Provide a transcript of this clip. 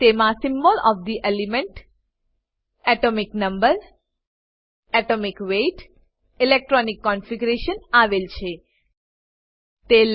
તેમાં symbol of the element ઘટકનું ચિન્હ એટોમિક નંબર પરમાણુ ક્રમાંક એટોમિક વેઇટ પરમાણુ ભારાંક અને ઇલેક્ટ્રોનિક કોન્ફિગરેશન પરમાણુ રચના આવેલ છે